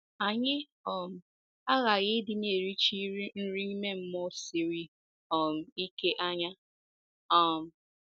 Anyị um aghaghị ịdị na - erichi nri ime mmụọ siri um ike anya. um